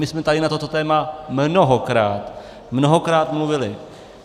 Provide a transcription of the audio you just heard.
My jsme tady na toto téma mnohokrát, mnohokrát mluvili.